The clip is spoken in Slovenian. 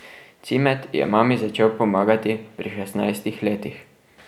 Cimet je mami začel pomagati pri šestnajstih letih.